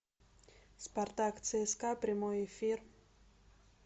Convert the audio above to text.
спартак цска прямой эфир